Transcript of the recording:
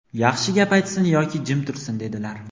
yaxshi gap aytsin yoki jim tursin", dedilar".